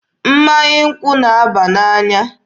Mmanya nkwụ na-aba n'anya.